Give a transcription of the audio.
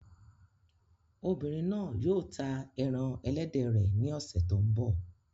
Obìnrin náà yóò ta ẹran ẹlẹ́dẹ̀ rẹ̀ ní ọ̀sẹ̀ tó ń bọ̀.